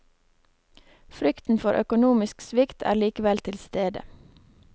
Frykten for økonomisk svikt er likevel til stede.